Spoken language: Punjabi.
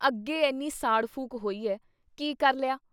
ਅੱਗੇ ਐਨੀ ਸਾੜ ਫੂਕ ਹੋਈ ਐ! ਕੀ ਕਰ ਲਿਆ ?